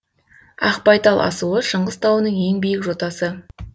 ақбайтал асуы шыңғыс тауының ең биік жотасы